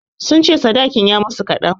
Sun ce sadakin ya yi musu kaɗan.